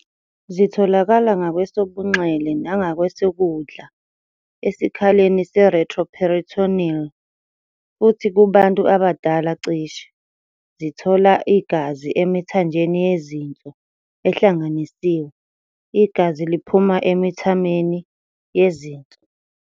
Zitholakala ngakwesobunxele nangakwesokudla esikhaleni se-retroperitoneal, futhi kubantu abadala cishe. Zithola igazi emithanjeni yezinso ehlanganisiwe, igazi liphuma emithaneni yezinso.